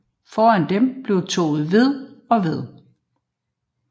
Foran dem bliver toget ved og ved